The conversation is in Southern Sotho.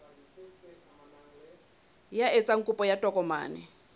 ya etsang kopo ya tokomane